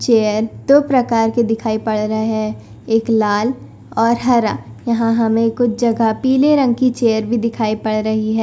Chair दो प्रकार के दिखाई पड़ रहे है एक लाल और हरा। यहां हमे कुछ जगह पीले रंग की चेयर भी दिखाई पड़ रही है।